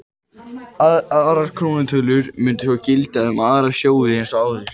Aðrar krónutölur mundu svo gilda um aðra sjóði eins og áður.